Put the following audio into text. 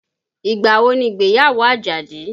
Ìgbà wo ni ìgbéyàwó Àjàdí?